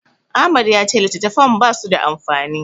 Ahmad ya ce littattafan basu da amfani.